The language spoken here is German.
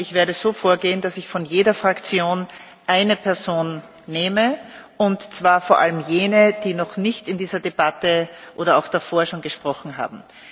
Ich werde so vorgehen, dass ich von jeder Fraktion eine Person nehme, und zwar vor allem jene, die noch nicht in dieser Debatte oder auch davor schon gesprochen haben.